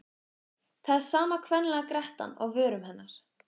Það er sama kvenlega grettan á vörum hennar.